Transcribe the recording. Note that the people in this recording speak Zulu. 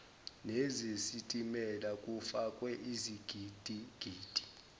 nezesitimela kufakwe izigidigidi